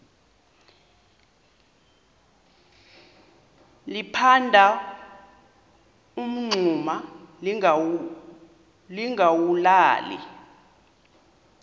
liphanda umngxuma lingawulali